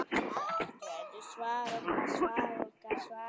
Hvert verður svar okkar?